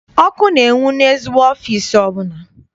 Ọkụ na-enwu n'ezigbo ọfịịsi ọbụla.